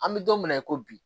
An bɛ don min na i ko bi